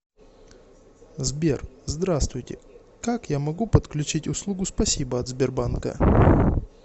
сбер здравствуйте как я могу подключить услугу спасибо от сбербанка